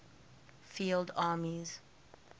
field armies